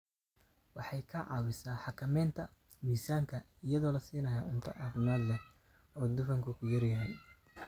Waxay ka caawisaa xakamaynta miisaanka iyadoo la siinayo cunto caafimaad leh oo dufanku ku yar yahay.